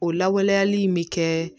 O lawaleyali in bɛ kɛ